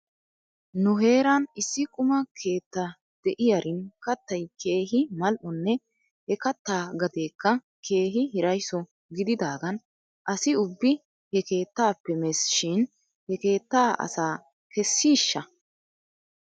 Nu heeran issi quma keetta de'iyaarin kattay keehi mal''onne he kattaa gateekka keehi hiraysso gididaagan asi ubbi he keetaappe mes shin he keettaa asaa kessiishsha?